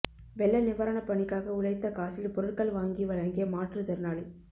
வெள்ள நிவாரணப் பணிக்காக உழைத்த காசில் பொருட்கள் வாங்கி வழங்கிய மாற்றுத்திறனாளி